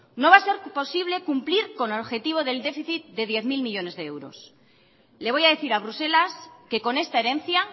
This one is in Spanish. no va a ser posible cumplir con el objetivo del déficit de diez mil millónes de euros le voy a decir a bruselas que con esta herencia